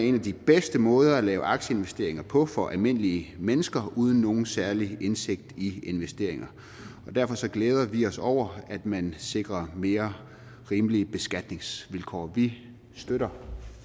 en af de bedste måder at lave aktieinvesteringer på for almindelige mennesker uden nogen særlig indsigt i investeringer og derfor glæder vi os over at man sikrer mere rimelige beskatningsvilkår vi støtter